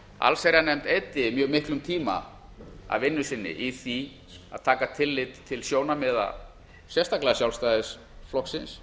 allsherjarnefnd eyddi mjög miklum tíma af vinnu sinni í því að taka tillit til sjónarmiða sérstaklega sjálfstæðisflokksins